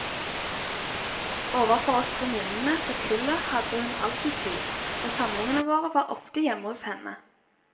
Overfor oss venninnene fra kullet hadde hun alltid tid, og samlingene våre var ofte hjemme hos henne.